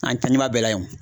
An tɛ ɲuman bɛɛ la o.